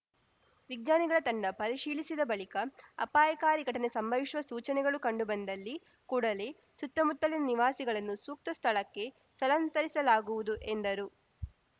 ವಿಜ್ಞಾನಿಗಳ ತಂಡ ಪರಿಶೀಲಿಸಿದ ಬಳಿಕ ಅಪಾಯಕಾರಿ ಘಟನೆ ಸಂಭವಿಸುವ ಸೂಚನೆಗಳು ಕಂಡುಬಂದಲ್ಲಿ ಕೂಡಲೇ ಸುತ್ತಮುತ್ತಲಿನ ನಿವಾಸಿಗಳನ್ನು ಸೂಕ್ತ ಸ್ಥಳಕ್ಕೆ ಸ್ಥಳಾಂತರಿಸಲಾಗುವುದು ಎಂದರು